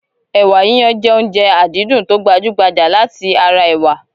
Ẹ̀wà yiyan jẹ́ oúnjẹ àdídùn tó gbajú-gbajà láti ara ẹ̀wà